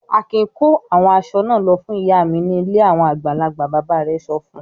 "Akin kó àwọn aṣọ náà lọ fún ìyá mi ní ilé àwọn àgbàlagbà!" Bàbá rẹ̀ sọ fún un.